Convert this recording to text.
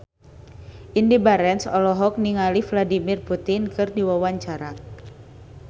Indy Barens olohok ningali Vladimir Putin keur diwawancara